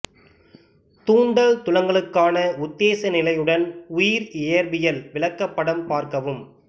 தூண்டல் துலங்கலுக்கான உத்தேச நிலையுடன் உயிர் இயற்பியல் விளக்கப் படம் பார்க்கவும்